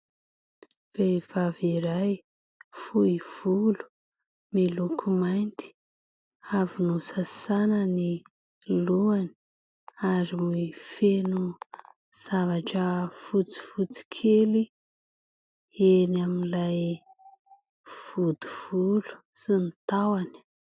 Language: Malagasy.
Vehivavy iray, fohy volo, miloko mainty, avy nosasana ny lohany ary feno zavatra fotsifotsy kely eny amin'ilay vody volo sy ny tahony.